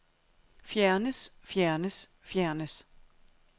fjernes fjernes fjernes